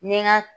N ye n ka